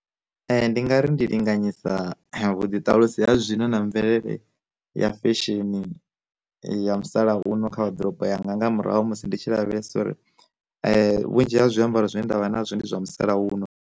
Ndi nga ri ndi linganyisa vhuḓi ṱalusiwa zwino na mvelele ya fesheni ya musalauno kha waḓorobo yanga nga murahu ha musi ndi tshi lavhelesa uri vhunzhi ha zwiambaro zwine ndavha nazwo ndi zwa musalauno.